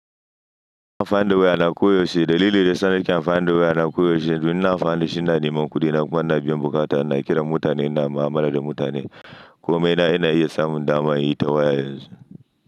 Ina amfani da way ana koyo shi. Dalilin da yasa na kyan funded way ana koyo shi domin na fahimci nane, man kudi na kuma na biyan bukata. Ina kiran mutane, ina mu'amala da mutane komai na iya samun dama yi ta waya yanzu.